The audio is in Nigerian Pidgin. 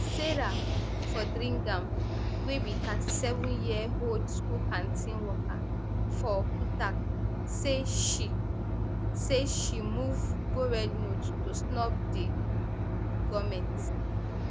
serah fotheringham wey be thirty-seven year old school canteen worker for utak say she say she move go rednote to snub di um goment